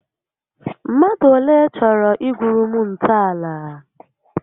Mmadụ olé chọrọ igwuuru m ntọàlà?